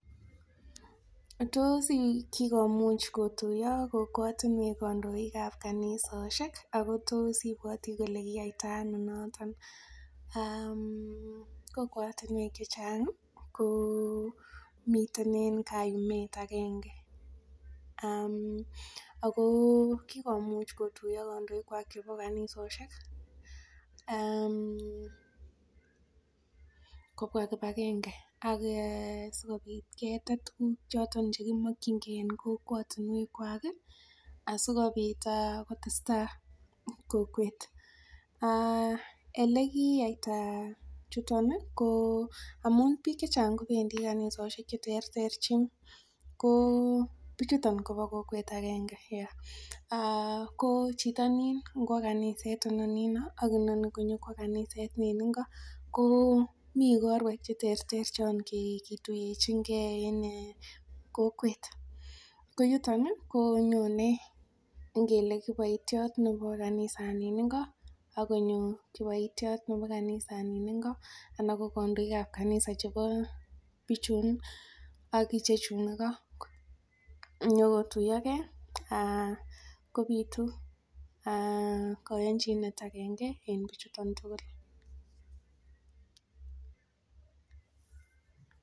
Tos kikomúch kituiyo kot netinye kandoik kanisosiek kotos imbwati Kole yatano noton ?kokwatinwek chechang komiten en gaa Yun en emet agenge ?ago sikomuch kotuiyo kandoik chwak en kanisosiek kobwa kibagenge sikobit tuguk choton chekimakin gei en kokwatinwek asikobit kotestai en kokwet elikiyaita niton ko amun chechang kowendit kanisoshek cheterterchin ko bichutonb koba kokwet agenge ko Chito newendi kaniset inoni akinoni konyongwa kanisa en Nini go Komi korwek cheterter kikituyechin gei en kokwet koyuton konyonen ngele kibaitiot kanisaniningo akonyo kibaitiot Nebo kanisa niningo anan konyo bik ab kaniset Ingo chebo bichun akichechun Ingo konyo kotuiyo gei kobitu kayanchinet agenge en bichuto tugul